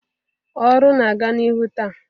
ọrụ na-aga n'ihu taa